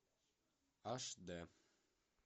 аш д